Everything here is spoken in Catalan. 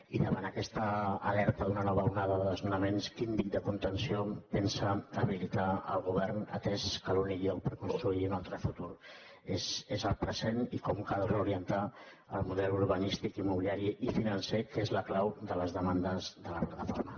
i davant d’aquesta nova alerta d’una nova onada de desnonaments quin dic de contenció pensa habilitar el govern atès que l’únic lloc per construir un altre futur és el present i com cal reorientar el model urbanístic immobiliari i financer que és la clau de les demandes de la plataforma